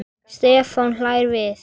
Stefán hlær við.